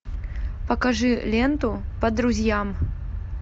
покажи ленту по друзьям